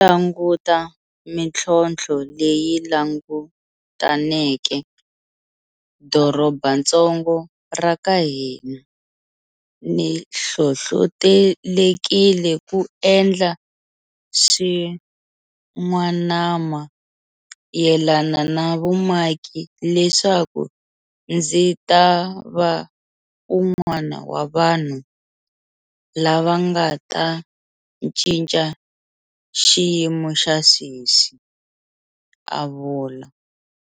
Languta mitlhontlho leyi langutaneke dorobatsongo ra ka hina, ni hlohlotelekile ku endla swin'wanama yelana na vumaki leswaku ndzi ta va un'wana wa vanhu lava nga ta cinca xiyimo xa sweswi, a vula.